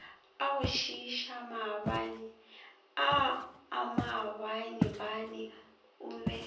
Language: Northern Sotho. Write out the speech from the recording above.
agošiiša maabaneaa maabanebane o be